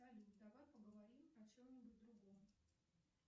салют давай поговорим о чем нибудь другом